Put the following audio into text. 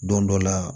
Don dɔ la